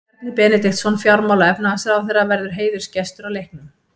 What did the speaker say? Bjarni Benediktsson, fjármála- og efnahagsráðherra verður heiðursgestur á leiknum.